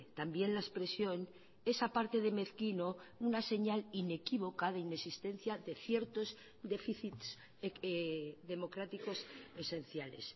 también la expresión es aparte de mezquino una señal inequívoca de inexistencia de ciertos déficits democráticos esenciales